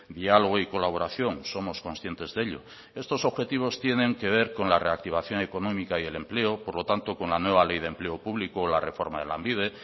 diálogo y colaboración somos conscientes de ello estos objetivos tienen que ver con la reactivación económica y el empleo por lo tanto con la nueva ley de empleo público o la reforma de lanbide